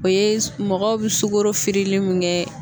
O ye mɔgɔw bi sukoro firilen min kɛ